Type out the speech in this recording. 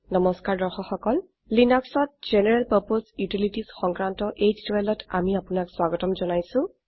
নমস্কাৰ লিনাক্সত জেনাৰেল পাৰ্পছে ইউটিলিটিজ সংক্ৰান্ত এই টিউটোৰীয়েলটিত আমি আপোনাক স্বাগত জনাইছো